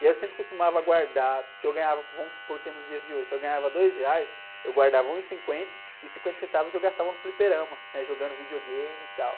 E aí eu sempre costumava guardar, se eu ganhava, vamos supor que é nos dias de hoje, se eu ganhava dois reais, eu guardava um e cinquenta e cinquenta centavos eu gastava no fliperama, né? Jogando videogame e tal.